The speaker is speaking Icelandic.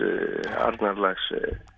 Arnarlax